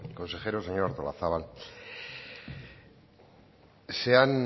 consejero señora artolazabal